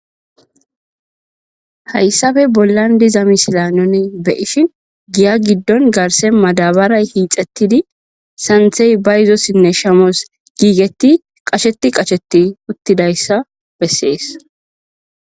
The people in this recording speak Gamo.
Hayisappe bollan diza misile nuni be ishin giya gidon garse madabare hixetidi santayi bayizosinne shamos gigeti qasheti qasheti utidayisa besees